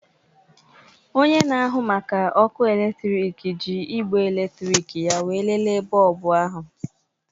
Onye na-ahụ maka ọkụ eletrik ji igbe eletrịkị ya wee léléè bọlbụ ahụ